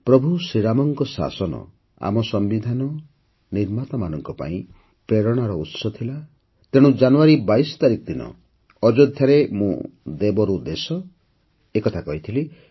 ପ୍ରଭୁ ରାମଙ୍କ ଶାସନ ଆମ ସମ୍ବିଧାନ ନିର୍ମାତାମାନଙ୍କ ପାଇଁ ପ୍ରେରଣାର ଉତ୍ସ ଥିଲା ତେଣୁ ଜାନୁଆରୀ ୨୨ ତାରିଖ ଦିନ ଅଯୋଧ୍ୟାରେ ମୁଁ ଦେବ ରୁ ଦେଶ କଥା କହିଥିଲି